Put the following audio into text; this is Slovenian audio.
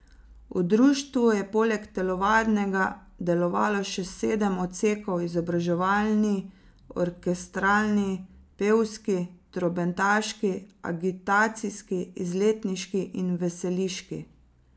V društvu je poleg telovadnega delovalo še sedem odsekov, izobraževalni, orkestralni, pevski, trobentaški, agitacijski, izletniški in veseliški.